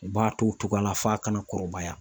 U b'a to o cogoya la f'a ka na kɔrɔbaya.